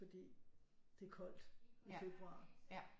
Fordi det er koldt i februar